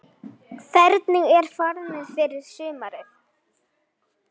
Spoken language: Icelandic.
Hvernig er formið fyrir sumarið?